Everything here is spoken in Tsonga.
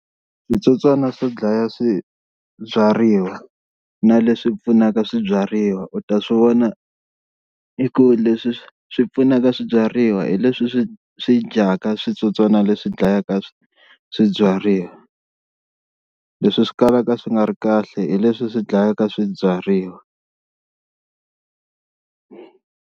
Switsotswana swo dlaya swibyariwa na leswi pfunaka swibyariwa u ta swi vona i ku leswi swi pfunaka swibyariwa hi leswi swi swi dyaka switsotswana leswi dlayaka swibyariwa, leswi swi kalaka swi nga ri kahle hi leswi swi dlayaka swibyariwa.